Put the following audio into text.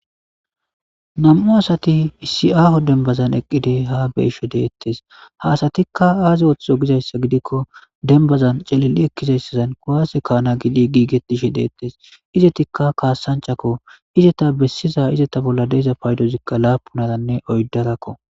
nam'u asati isi aaho denbazan eqqidi ha beeshe deettes hasatikka aazi ooththo gizayssa gidikko denbazan calili'i ekkizayssazan kuwaase kaana gidi giigetishe deettes izetikka kaassanchakko izeta bessiza izeta bolla de'iza paydozikka laapunaranne oyddarakko